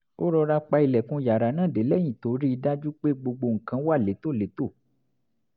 ó rọra pa ilẹ̀kùn yàrá náà dé lẹ́yìn tó rí i dájú pé gbogbo nǹkan wà létòlétò